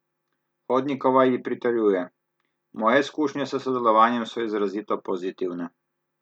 Hodnikova ji pritrjuje: "Moje izkušnje s sodelovanjem so izrazito pozitivne.